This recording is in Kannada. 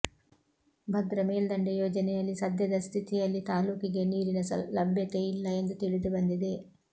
ಭದ್ರ ಮೇಲ್ದಂಡೆ ಯೋಜನೆಯಲ್ಲಿ ಸದ್ಯದ ಸ್ಥಿತಿಯಲ್ಲಿ ತಾಲ್ಲೂಕಿಗೆ ನೀರಿನ ಲಭ್ಯತೆ ಇಲ್ಲ ಎಂದು ತಿಳಿದು ಬಂದಿದೆ